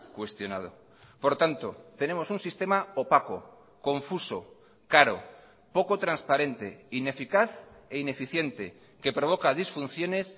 cuestionado por tanto tenemos un sistema opaco confuso caro poco transparente ineficaz e ineficiente que provoca disfunciones